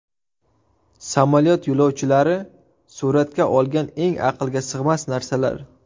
Samolyot yo‘lovchilari suratga olgan eng aqlga sig‘mas narsalar.